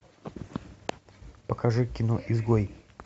покажи кино изгой